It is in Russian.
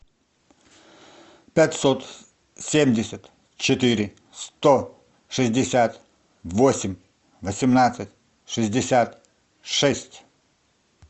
пятьсот семьдесят четыре сто шестьдесят восемь восемнадцать шестьдесят шесть